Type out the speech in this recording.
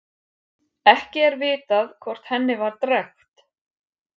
Ekki er vitað hvort henni var drekkt.